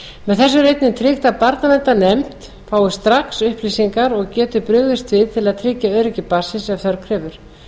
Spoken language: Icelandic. með þessu er einnig tryggt að barnaverndarnefnd fái strax upplýsingar og geti brugðist við til að tryggja öryggi barnsins ef þörf krefur